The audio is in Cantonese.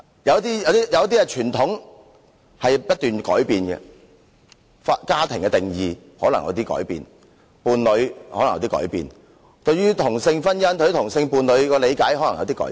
有些傳統不斷在改變，家庭和配偶的定義可能改變，對於同性婚姻、同性伴侶的理解可能改變。